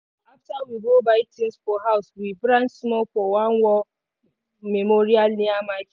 after we go buy things for house we branch small for one war memorial near market.